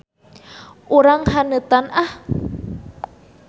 Urang haneutan ah.